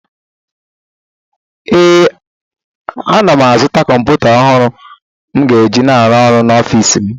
Ee, ana m azụta kọmpụta ọhụrụ m ga-eji na-arụ ọrụ n’ọfịsi m